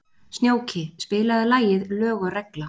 Snjóki, spilaðu lagið „Lög og regla“.